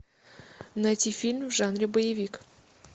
найти фильм в жанре боевик